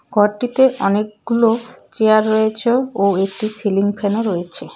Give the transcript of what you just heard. ঘরটিতে অনেকগুলো চেয়ার রয়েছে ও একটি সিলিং ফ্যানও রয়েছে.